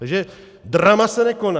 Takže drama se nekoná.